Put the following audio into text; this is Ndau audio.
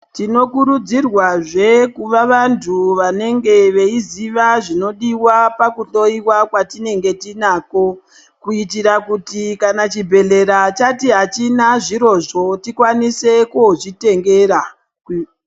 Tinokurudzirwazve kuva vanthu vanenge veiziva zvinodiwa pakuhloyiwa kwatinenge tinako, kuitira kuti kana chibhedlera chati achina zvirozvo tikwanise koo zvitengera.